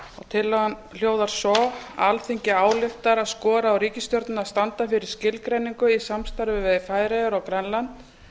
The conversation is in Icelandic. tillagan hljóðar svo alþingi ályktar að skora á ríkisstjórnina að standa fyrir skilgreiningu í samstarfi við færeyjar og grænland